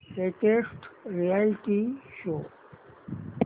latest reality show